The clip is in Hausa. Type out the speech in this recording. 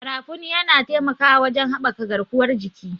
Garafuni yana taimakawa wajen haɓaka garkuwar jiki.